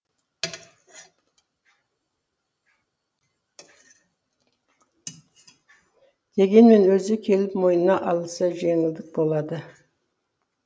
дегенмен өзі келіп мойнына алса жеңілдік болады